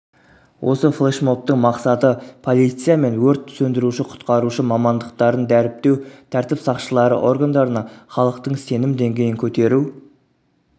осы флешмобтың мақсаты полиция мен өрт сөндіруші-құтқарушы мамандықтарын дәріптеу тәртіп сақшылары органдарына халықтың сенім деңгейін көтеру